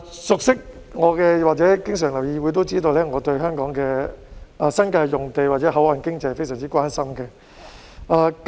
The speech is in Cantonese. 熟悉我或經常留意議會的市民都知道，我對香港的新界用地或口岸經濟非常關心。